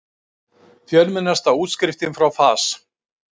Fjölmennasta útskriftin frá FAS